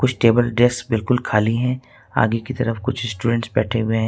Table desk बिल्कुल खाली हैं आगे की तरफ कुछ स्टूडेंट्स बैठे हुए हैं।